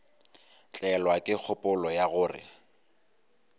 tlelwa ke kgopolo ya gore